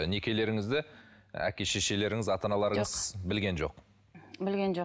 некелеріңізді әке шешелеріңіз ата аналарыңыз білген жоқ білген жоқ